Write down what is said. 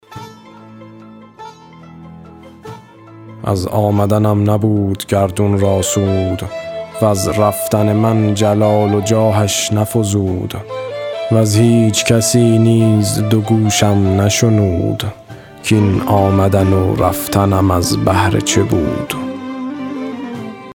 از آمدنم نبود گردون را سود وز رفتن من جلال و جاهش نفزود وز هیچ کسی نیز دو گوشم نشنود کاین آمدن و رفتنم از بهر چه بود